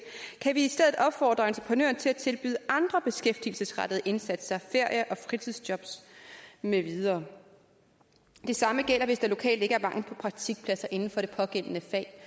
kan vi i stedet opfordre entreprenøren til at tilbyde andre beskæftigelsesrettede indsatser ferie og fritidsjobs med videre det samme gælder hvis der lokalt ikke er mangel på praktikpladser inden for det pågældende fag